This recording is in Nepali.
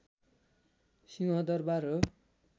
सिंहदरवार हो